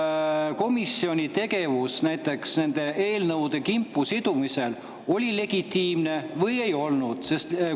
Kas komisjoni tegevus nende eelnõude kimpu sidumisel oli legitiimne või ei olnud?